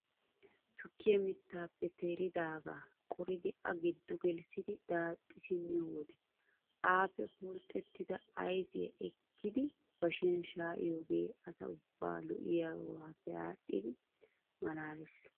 Tukkiyaa mittaappe teeridagaa qoridi a giddo gelissidi daaxxi simmiyo wode appe phurxxetida ayfiyaa ekkidi bashiyaan shayiyoogee asa ubbaa lo"iyoogappe adhidi malaales.